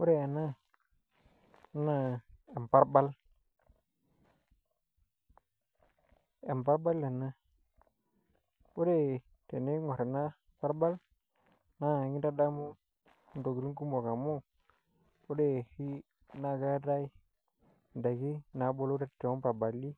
Ore ena naa emparbal emparbal ena ore teniingorr ena parbal naa kintadamu intokitin kumok oleng' amu ore oshi naa keetae ndaiki naabulu toomparbali